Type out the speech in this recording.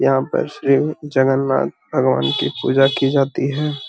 यहाँ पर श्री जगन्नाथ भगवान की पूजा की जाती है।